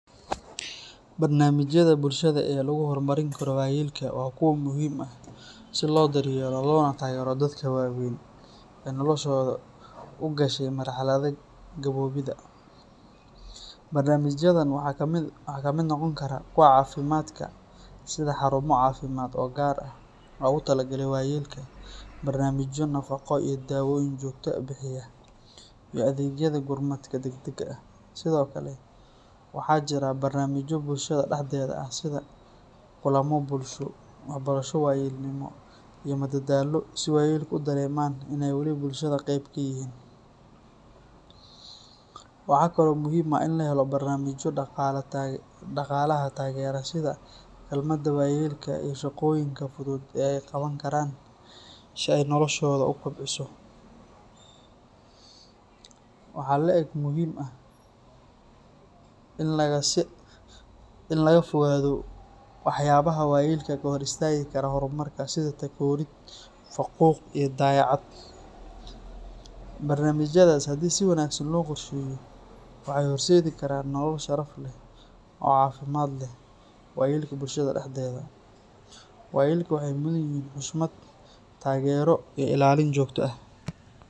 Barnaamijyada bulshada ee lagu horumarin karo waayeelka waa kuwo muhiim ah si loo daryeelo loona taageero dadka waaweyn ee noloshooda u gashay marxaladda gaboobidda. Barnaamijyadan waxaa ka mid noqon kara kuwa caafimaadka sida xarumo caafimaad oo gaar ah loogu talagalay waayeelka, barnaamijyo nafaqo iyo daawooyin joogto ah bixiya, iyo adeegyada gurmadka degdegga ah. Sidoo kale, waxaa jira barnaamijyo bulshada dhexdeeda ah sida kulamo bulsho, waxbarasho waayeelnimo, iyo madadaalo si waayeelku u dareemaan in ay wali bulshada qayb ka yihiin. Waxaa kale oo muhiim ah in la helo barnaamijyo dhaqaalaha taageera sida kaalmada waayeelka iyo shaqooyinka fudud ee ay qaban karaan si ay noloshooda u kobciso. Waxaa la'eg muhiim ah in laga fogaado waxyaabaha waayeelka ka hor istaagi kara horumarka sida takoorid, faquuq, iyo dayacaad. Barnaamijyadaas haddii si wanaagsan loo qorsheeyo, waxay horseedi karaan nolol sharaf leh oo caafimaad leh waayeelka bulshada dhexdeeda. Waayeelka waxay mudan yihiin xushmad, taageero, iyo ilaalin joogto ah.